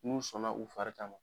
Mun sɔnna u fari ka.